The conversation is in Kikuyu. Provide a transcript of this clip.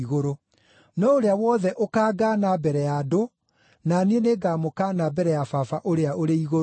No ũrĩa wothe ũkangaana mbere ya andũ, na niĩ nĩngamũkaana mbere ya Baba ũrĩa ũrĩ igũrũ.